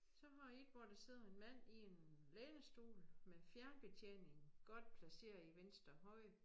Så har jeg et hvor der sidder en mand i en lænestol med fjernbetjeningen godt placeret i venstre hånd